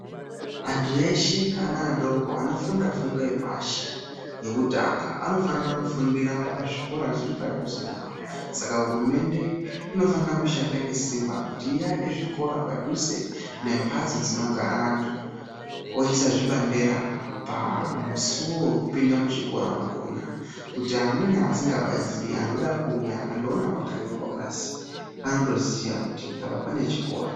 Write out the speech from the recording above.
Antu eshe ana adoko anofunda fundo yepashi-yekutanga anofanira kufundira pazvikora zviri padhuze nawo, Saka hurumende inofanira kushanda ngesimba kuti iake zvikora padhuze nembatso dzinogara antu. Oisa zvibandera pamisuwo wekupinda muchikora mwakona kuti amweni asingapaziyi anoda kuuya akandoona pakanyorwa basi, anotoziya kuti apa pane chikora.